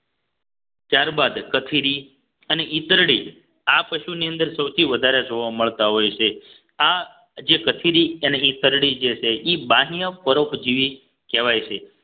ત્યારબાદ કથીરી અને ઈતરડી આ પશુની અંદર સૌથી વધારે જોવા મળતા હોય છે આ જે કથીરી અને ઈતરડી જે છે ઈ બાહ્ય પરોપજીવી કહેવાય છે